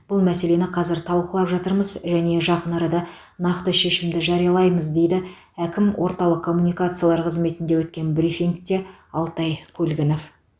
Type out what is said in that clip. бұл мәселені қазір талқылап жатырмыз және жақын арада нақты шешімді жариялаймыз деді әкім орталық коммуникациялар қызметінде өткен брифингте алтай көлгінов